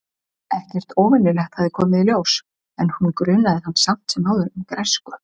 Ekkert óvenjulegt hafði komið í ljós- en hún grunaði hann samt sem áður um græsku.